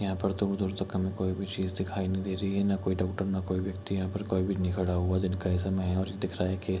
यहाँ पे दूर-दूर तक हमे कोई भी चीज दिखाई नहीं दे रही है न कोई डॉक्टर ना कोई व्यक्ति यहाँ पर कोई भी नहीं खड़ा हुआ है दिन का ही समय है और दिख रहा है की --